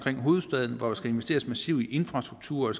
hovedstaden hvor der skal investeres massivt i infrastruktur